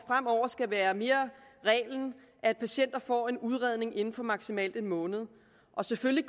fremover skal være reglen at patienter får en udredning inden for maksimalt en måned og selvfølgelig